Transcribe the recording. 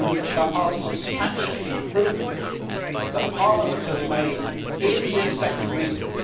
There are substantial improvements that Parliament has made in this second reading.